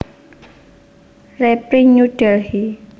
Reprint New Delhi